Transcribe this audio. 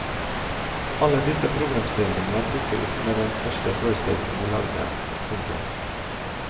Alle disse problemstillingene dukket opp med den første forestillingen vi lagde. punktum